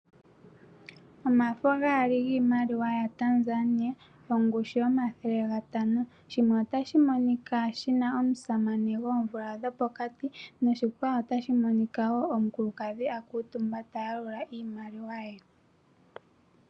Omafo gaali giimaliwa yaTanzania ongushu yomathele gatano shimwe otashi monuka shin omusamane goomvula dhopokati noshikwawo otashi monika wo omukulukadhina luutumba ta yalula iimaliwa ye.